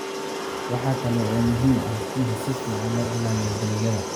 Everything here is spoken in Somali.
Waxa kale oo muhiim ah in si fiican loo ilaaliyo dalagyada.